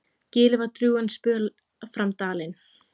Gilið var drjúgan spöl fram dalinn.